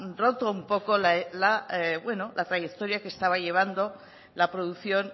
roto un poco la trayectoria que estaba llevando la producción